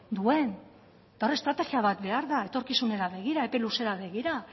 duen eta hor estrategia bat behar da etorkizunera begira epe luzera begira